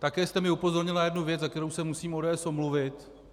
Také jste mě upozornil na jednu věc, za kterou se musím ODS omluvit.